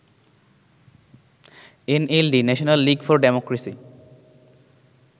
NLD National league for democracy